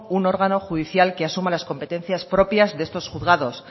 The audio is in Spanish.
un órgano judicial que asuma las competencias propias de estos juzgados